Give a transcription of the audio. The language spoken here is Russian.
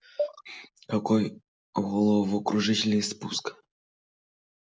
какой головокружительный спуск